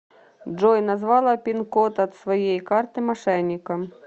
джой назвала пин код от своей карты мошенникам